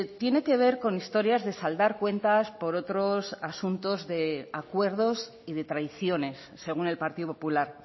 tiene que ver con historias de saldar cuentas por otros asuntos de acuerdos y de traiciones según el partido popular